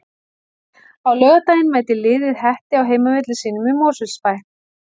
Á laugardaginn mætir liðið Hetti á heimavelli sínum í Mosfellsbæ.